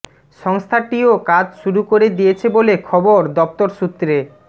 সংস্থাটিও কাজ শুরু করে দিয়েছে বলে খবর দফতর সূত্রে